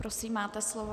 Prosím, máte slovo.